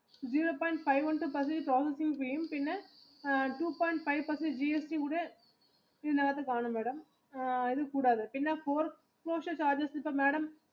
two point five GST കൂടെ കാണും madam ഇത് കൂടാതെ പിന്നെ